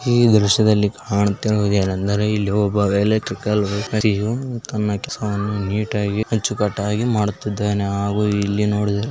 ಈ ದೃಶ್ಯದಲ್ಲಿ ಕಾಣುತ್ತಿರುವುದು ಏನು ಅಂದರೆ ಇಲ್ಲಿ ಒಬ್ಬ ಎಲೆಕ್ಟ್ರಿಕಲ್ ವ್ಯಕ್ತಿಯು ತನ್ನ ಕೆಸವನ್ನು ನೀಟ್ಆಗಿ ಅಚ್ಚುಕಟ್ಟಾಗಿ ಮಾಡುತ್ತಿದಾನೆ ಹಾಗೂ ಇಲ್ಲಿ ನೋಡಿದ್ರೆ --